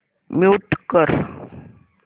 mute कर